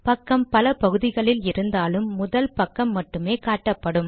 பக்கம் பல பகுதிகளில் இருந்தாலும் முதல் பக்கம் மட்டுமே காட்டப்படும்